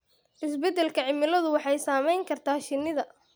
Isbeddelka cimiladu waxay saameyn kartaa shinnida.